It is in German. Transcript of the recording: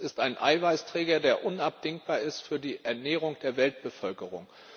Er ist ein Eiweißträger, der unabdingbar ist für die Ernährung der Weltbevölkerung.